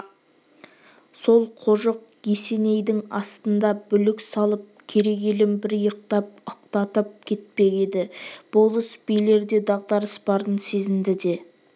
сол қожық есенейдің асында бүлік салып керей елін бір иықтап ықтатып кетпек еді болыс-билерде дағдарыс барын сезінді де